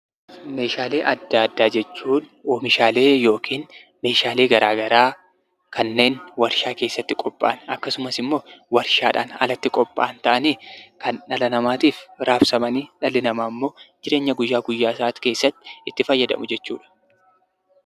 Meeshaalee addaa addaa jechuun oomishaalee yammuu ta'an kan Warshaa keessatti oomishamanii fi warshaan alatti oomishaman yammuu ta'an kan namni jireenya isaa guyyaa guyyaa keessattti ittiin tajaajilamuu dha.